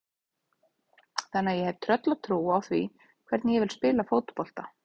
Þannig að ég hef tröllatrú á því hvernig ég vil spila fótbolta.